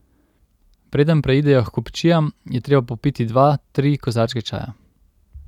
Preden preidejo h kupčijam, je treba popiti dva, tri kozarčke čaja.